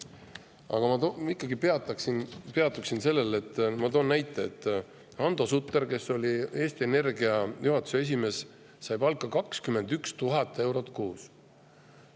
Aga ma ikkagi peatun sellel – ma toon näite –, et Hando Sutter, kes oli Eesti Energia juhatuse esimees, sai palka 21 000 eurot kuus.